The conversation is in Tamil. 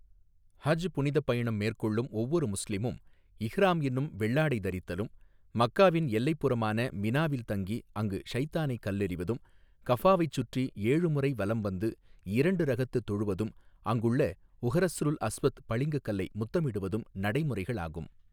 ஹஜ் புனிதப் பயணம் மேற்கொள்ளும் ஒவ்வொரு முஸ்லிமும் இஹ்ராம் என்னும் வெள்ளாடை தரித்தலும் மக்காவின் எல்லைப் புறமான மினாவில் தங்கி அங்கு ஷைத்தானை கல்லெறிவதும் கஃபாவைச் சுற்றி ஏழுமுறை வலம் வந்து இரண்டு ரகத்து தொழுவதும் அங்குள்ள உஹறஸ்ருல் அஸ்வத் பளிங்கு கல்லை முத்தமிடுவதும் நடைமுறைகளாகும்.